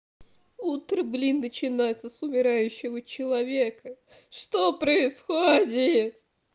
утро блин начинается с умирающего человека что происходит